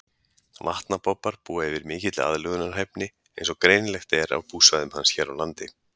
Vatnabobbar búa yfir mikilli aðlögunarhæfni eins og greinilegt er af búsvæðum hans hér á landi.